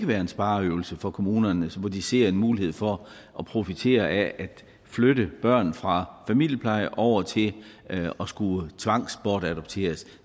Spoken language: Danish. være en spareøvelse for kommunerne hvor de ser en mulighed for at profitere af at flytte børn fra familiepleje over til at skulle tvangsbortadopteres